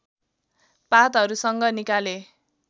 पातहरूसँग निकाले